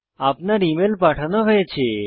আপনার ইমেল পাঠানো হয়েছে